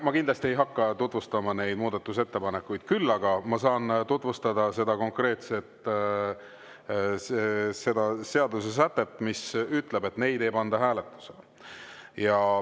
Ma kindlasti ei hakka tutvustama neid muudatusettepanekuid, küll aga ma saan tutvustada seda konkreetset seadusesätet, mis ütleb, et neid ei panda hääletusele.